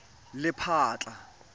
lephatla